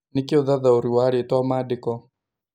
nĩ kĩĩ ũthathaũri wa rĩtwa maandĩko